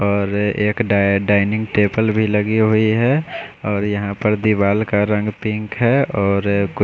और एक डाय डाइनिंग टेबल भी लगी हुई है और यहां पर दीवाल का रंग पिंक है और--